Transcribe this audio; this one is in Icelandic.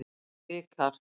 Vikar